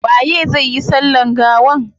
Waye zai yi sallan gawan?